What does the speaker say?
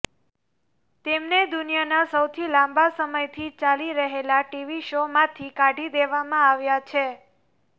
તેમને દુનિયાના સૌથી લાંબા સમયથી ચાલી રહેલા ટીવી શો માંથી કાઢી દેવામાં આવ્યા છે